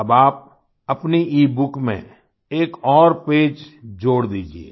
अब आप अपनी ईबुक में एक और पेज जोड़ दीजिये